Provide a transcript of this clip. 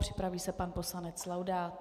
Připraví se pan poslanec Laudát.